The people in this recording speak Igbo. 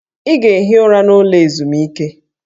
Ị ga-ehi ụra n'ụlọ ezumike!